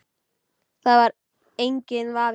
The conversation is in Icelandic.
Það er enginn vafi.